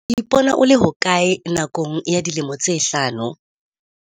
O ipona o le hokae nakong ya dilemo tsa hlano?